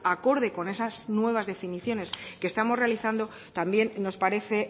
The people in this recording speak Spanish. acorde con esas nuevas definiciones que estamos realizando también nos parece